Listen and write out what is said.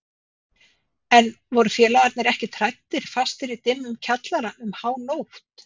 En voru félagarnir ekkert hræddir fastir í dimmum kjallara um hánótt?